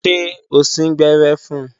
Ṣé o síngbẹ́rẹ́ fun?